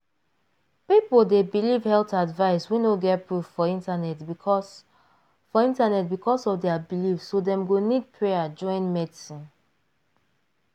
people dey believe health advice wey no get proof for internet because for internet because of their belief so dem go nid prayer join medicine.